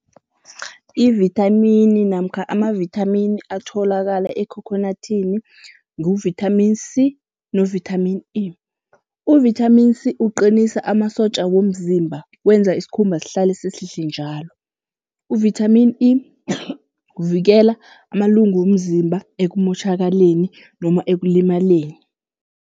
Ivithamini namkha amavithamini atholakala ekhokhonathini nguvithamini C novithamini E. Uvithamini C uqinisa amasotja womzimba, wenza isikhumba sihlale sihlihle njalo. Uvithamini E kuvikela amalungu womzimba ekumotjhakaleni noma ekulimaleni.